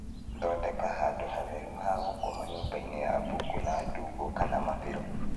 Thondeka handũ hatheru ha gũkoma nyũmbainĩ ya mbũkũ na ndumbo kana mabĩro